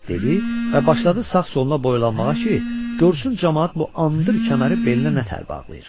dedi və başladı sağ-soluna boylanmağa ki, görsün camaat bu andır kəməri belinə nətər bağlayır.